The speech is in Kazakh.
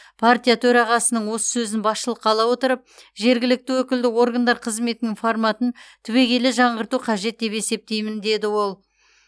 партия төрағасының осы сөзін басшылыққа ала отырып жергілікті өкілді органдар қызметінің форматын түбегейлі жаңғырту қажет деп есептеймін деді ол